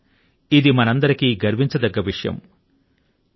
నిజం గా ఇది మనందరికీ గర్వించదగ్గ విషయం